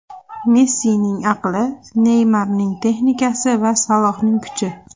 Messining aqli, Neymarning texnikasi va Salohning kuchi.